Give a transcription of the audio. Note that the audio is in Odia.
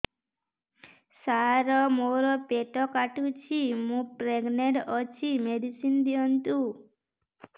ସାର ମୋର ପେଟ କାଟୁଚି ମୁ ପ୍ରେଗନାଂଟ ଅଛି ମେଡିସିନ ଦିଅନ୍ତୁ